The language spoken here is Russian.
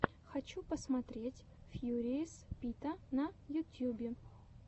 хочу посмотреть фьюриес пита на ютьюбе